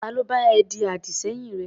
Ta ló bá ẹ ṣe àdì-sẹ́yìn rẹ?